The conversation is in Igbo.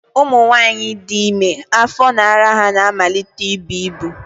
Ụmụnwaanyị dị ime, afọ na ara ha na-amalite ibu ibu